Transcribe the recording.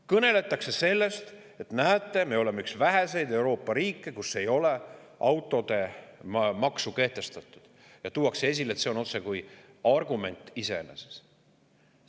Kõneletakse sellest, et näete, me oleme üks väheseid Euroopa riike, kus ei ole autodele maksu kehtestatud, ja tuuakse esile, et see on otsekui argument iseeneses.